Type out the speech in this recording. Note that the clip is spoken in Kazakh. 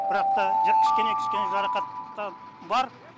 бірақ та жа кішкене кішкене жарақаттар бар